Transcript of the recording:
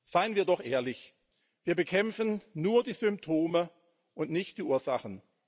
Seien wir doch ehrlich Wir bekämpfen nur die Symptome und nicht die Ursachen.